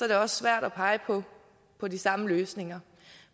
det også svært at pege på på de samme løsninger